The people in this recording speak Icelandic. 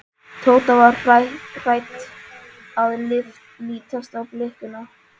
Tóta var hætt að lítast á blikuna.